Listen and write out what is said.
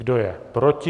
Kdo je proti?